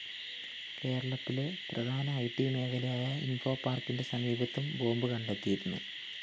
കേരളത്തിലെ പ്രധാന IT മേഖലയായ ഇന്‍ഫോപാര്‍ക്കിന്റെ സമീപത്തും ബോംബ്‌ കണ്ടെത്തിയിരുന്നു